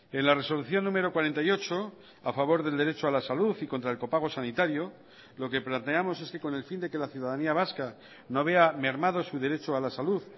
en la resolución número cuarenta y ocho a favor del derecho a la salud y contra el copago sanitario lo que planteamos es que con el fin de que la ciudadanía vasca no vea mermado su derecho a la salud